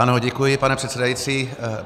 Ano, děkuji, pane předsedající.